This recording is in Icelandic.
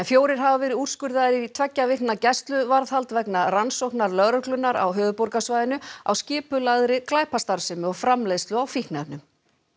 fjórir hafa verið úrskurðaðir í tveggja vikna gæsluvarðhald vegna rannsóknar lögreglunnar á höfuðborgarsvæðinu á skipulagðri glæpastarfsemi og framleiðslu á fíkniefnum